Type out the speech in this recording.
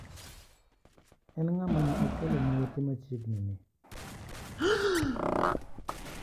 En ng'ama ne achwalo ne ote machiegni ni?